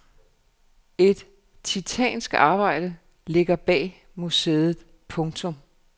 Et titanisk arbejde ligger bag museet. punktum